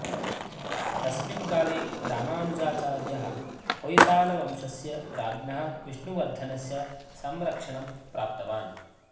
तस्मिन् काले रामानुजाचार्यः होयसालवंशस्य राज्ञः विष्णुवर्धनस्य संरक्षणं प्राप्तवान्